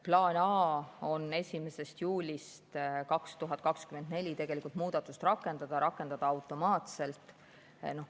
Plaan A on 1. juulist 2024 muudatust rakendada automaatselt.